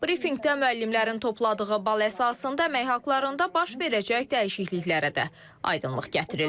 Brifinqdə müəllimlərin topladığı bal əsasında əmək haqlarında baş verəcək dəyişikliklərə də aydınlıq gətirildi.